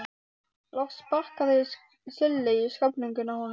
Loks sparkaði Silli í sköflunginn á honum.